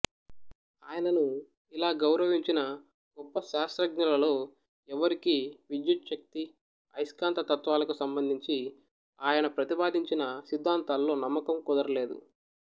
ఆయనను ఇలా గౌరవించిన గొప్ప శాస్త్రజ్ఞులలో ఎవరికీ విద్యుచ్ఛక్తి అయస్కాంతత్వాలకు సంబంధించి ఆయన ప్రతిపాదించిన సిద్ధాంతాల్లో నమ్మకం కుదరలేదు